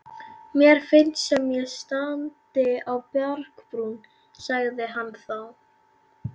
Mér finnst sem ég standi á bjargbrún, sagði hann þá.